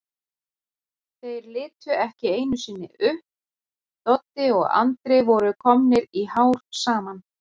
Þeir litu ekki einusinni upp, Doddi og Andri voru komnir í hár saman.